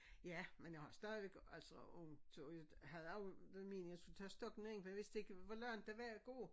Ja men jeg har stadigvæk altså ondt og jeg havde det var meningen jeg skulle tage stokken ind for jeg vidste ikke hvor langt det var at gå